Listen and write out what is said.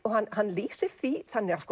hann hann lýsir því þannig að